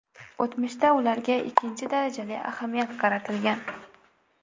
O‘tmishda ularga ikkinchi darajali ahamiyat qaratilgan.